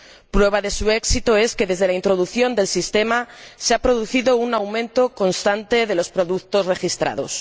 Prueba de su éxito es que, desde la introducción del sistema, se ha producido un aumento constante de los productos registrados.